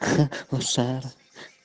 ха мусора